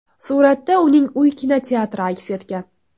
Suratda uning uy kinoteatri aks etgan.